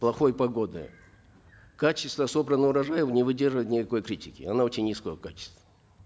плохой погоды качество собранного урожая не выдерживает никакой критики оно очень низкого качества